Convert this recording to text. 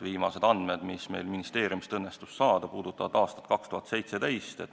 Viimased andmed, mis meil ministeeriumist õnnestus saada, puudutavad aastat 2017.